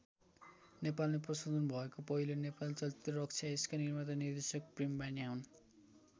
नेपालमै प्रशोधन भएको पहिलो नेपाली चलचित्र रक्षा यसका निर्माता निर्देशक प्रेम बानियाँ हुन्।